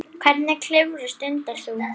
Hvernig klifur stundar þú?